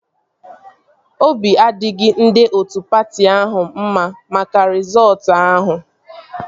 Obi adịghị ndị otu patị ahụ mma maka rịzọọtu ahụ